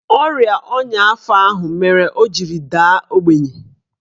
Ọrịa ọnya afọ ahụ mere o jiri daa ogbenye